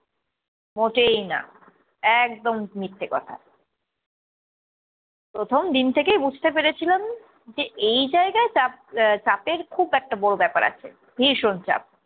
মোটেই না, একদম মিথ্যে কথা। প্রথম দিন থেকেই বুঝতে পেরেছিলাম যে এই জায়গায় চাপ আহ চাপের খুব একটা বড়ো ব্যাপার আছে, ভীষণ চাপ।